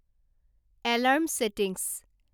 alarm settings